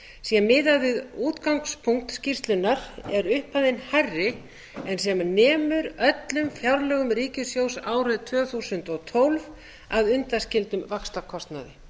sé miðað við útgangspunkt skýrslunnar er upphæðin hærri en sem nemur öllum fjárlögum ríkissjóðs árið tvö þúsund og tólf að undanskildum vaxtakostnaði